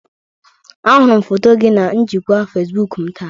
Ahụrụ m foto gị na njikwa Facebook m taa